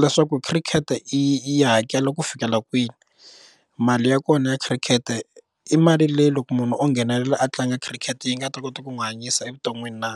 leswaku khirikhete yi hakela ku fikela kwini mali ya kona ya khirikete i mali leyi loko munhu o nghenelela a tlanga khirikete yi nga ta kota ku n'wi hanyisa evuton'wini na?